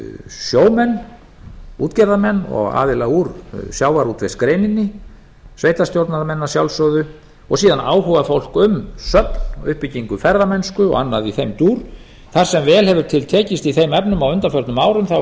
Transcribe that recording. sjómenn útgerðarmenn og aðila úr sjávarútvegsgreininni sveitarstjórnarmenn að sjálfsögðu og síðan áhugafólk um söfn og uppbyggingu ferðamennsku og annað í þeim dúr þar sem vel hefur til tekist á undanförnum árum